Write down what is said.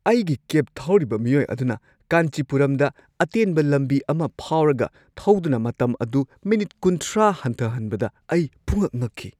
ꯑꯩꯒꯤ ꯀꯦꯕ ꯊꯧꯔꯤꯕ ꯃꯤꯑꯣꯏ ꯑꯗꯨꯅ ꯀꯥꯟꯆꯤꯄꯨꯔꯝꯗ ꯑꯇꯦꯟꯕ ꯂꯝꯕꯤ ꯑꯃ ꯐꯥꯎꯔꯒ ꯊꯧꯗꯨꯅ ꯃꯇꯝ ꯑꯗꯨ ꯃꯤꯅꯤꯠ ꯳꯰ ꯍꯟꯊꯍꯟꯕꯗ ꯑꯩ ꯄꯨꯡꯉꯛ-ꯉꯛꯈꯤ꯫